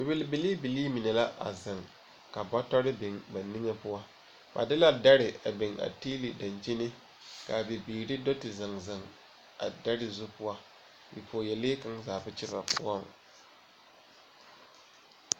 Bibil biliibilii mine la zeŋ ka bɔtɔre biŋ ba niŋe poɔ. Ba de la dɛre biŋ a tiili a daŋkyini ka a bibiiri do te zeŋzeŋ a dɛre zu poɔ. Bipɔɔyalee kaŋa zaa ba kye ba poɔŋ.